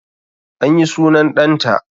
An yi sunan ɗan ta